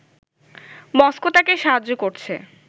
Moscow তাকে সাহায্য করছে